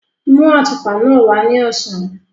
Mú àtùpà náà wá ní ọ̀sán.